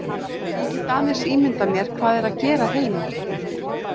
Ég get aðeins ímyndað mér hvað er að gera heima.